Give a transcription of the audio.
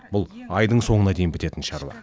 бұл айдың соңына дейін бітетін шаруа